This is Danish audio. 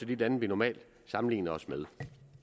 de lande vi normalt sammenligner os med